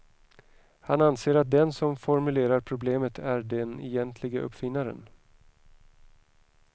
Han anser att den som formulerar problemet är den egentlige uppfinnaren.